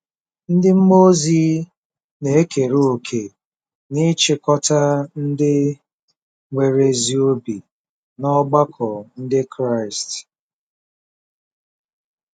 Ndị mmụọ ozi na-ekere òkè n'ịchịkọta ndị nwere ezi obi n'ọgbakọ Ndị Kraịst